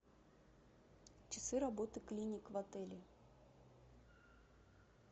часы работы клиник в отеле